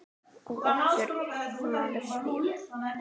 Og okkar maður svífur.